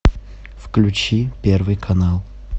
включи первый канал